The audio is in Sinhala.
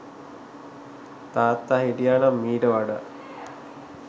තාත්තා හිටියා නම් මීට වඩා